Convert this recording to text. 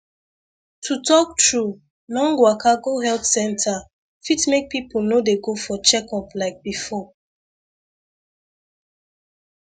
to talk true long waka go health health center fit make people no dey go for checkup like before